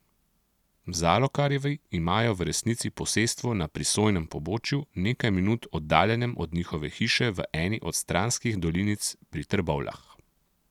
Zalokarjevi imajo v resnici posestvo na prisojnem pobočju, nekaj minut oddaljenem od njihove hiše v eni od stranskih dolinic pri Trbovljah.